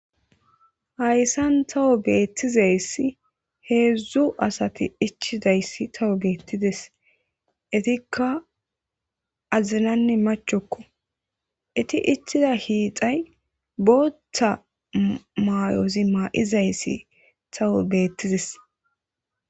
hayssan tawo beettizayssi heedzdzu asati ichidayssi tawo beettides itikka azinanne machokko iti ichida hiixay boottha maayozi maa7izayssi tawo beettides